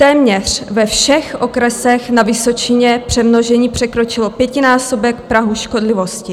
Téměř ve všech okresech na Vysočině přemnožení překročilo pětinásobek prahu škodlivosti.